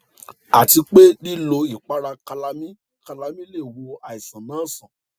àti pé lílo ìpara calamine calamine lè wo àìsàn náà sàn